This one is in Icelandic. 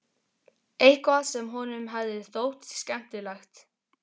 Eitthvað sem honum hefði þótt skemmtilegt.